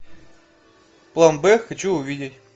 план б хочу увидеть